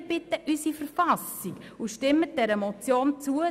Respektieren Sie unsere Verfassung und stimmen Sie dieser Motion zu.